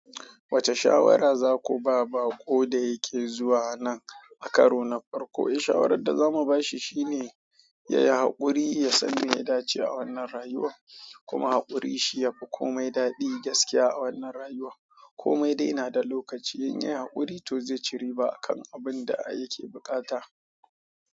Wacce shawara za ku ba bako da yake zuwa anan a karo na farko? Eh, shawarar da za mu ba shi shine ya yi haƙuri, ya san me ya dace a wannan rayuwa kuma haƙuri shi ya fi kome daɗi gaskiya a wannan rayuwa. Komai dai na da lokaci, in ya yi haƙuri, to zai ci riba kan abun da yake buƙata.